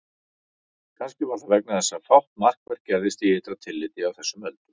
Kannski var það vegna þess að fátt markvert gerðist í ytra tilliti á þessum öldum.